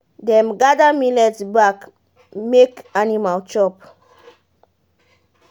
dem gather millet back make animal chop